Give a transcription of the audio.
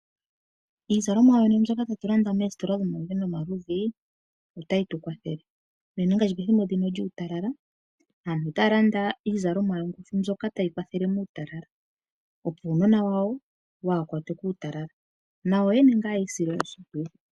Iizalomwa yonena mbyoka tatu landa moositola dhomaludhi nomaludhi, otayi tu kwathele. Unene ngaashi ethimbo ndino lyuutala aantu otaya landa iizalomwa yongushu mbyoka tayi kwathele muutalala, opo uunona wawo waakwatwe kuutalala nayo yene yiisile oshimpwiyu.